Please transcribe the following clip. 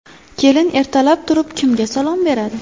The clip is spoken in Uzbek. Kelin ertalab turib kimga salom beradi?